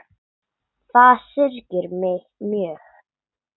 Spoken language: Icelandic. Það syrgir mig mjög.